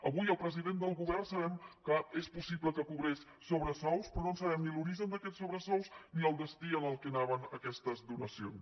avui el president del govern sabem que és possible que cobrés sobresous però no sabem ni l’origen d’aquests sobresous ni el destí al qual anaven aquestes donacions